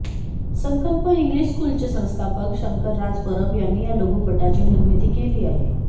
संकल्प इंग्लिश स्कूलचे संस्थापक शंकर राज परब यांनी या लघुपटाची निर्मिती केली आहे